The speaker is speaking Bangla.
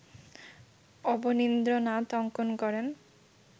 অবনীন্দ্রনাথ অঙ্কন করেন